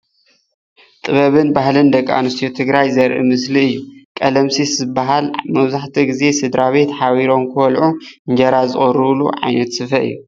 ጥበብን ባህል ደቂ ኣነስትዮ ትግራይ ዘርኢ ምስሊ እዩ፡፡ ቀለምሲስ ዝባሃል መብዛሕትኡ ግዜ ስድራቤት ሓቢሮም ክበልዑ እንጀራ ዝቅርብሉ ዓይነት ስፈ እዩ፡፡